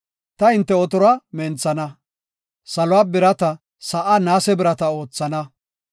Ta hinte otoruwa menthana; saluwa birata; sa7aa naase birata oothana.